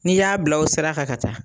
Ni y'a bila o sira kan ka taa,